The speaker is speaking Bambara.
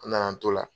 An nana an t'o la